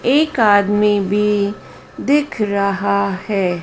एक आदमी भी दिख रहा है।